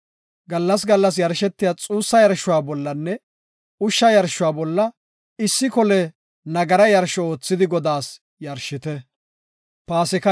Gallas gallas yarshetiya xuussa yarshuwa bollanne ushsha yarshuwa bolla issi kole nagara yarsho oothidi Godaas yarshite.”